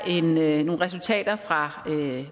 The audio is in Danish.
nogle resultater fra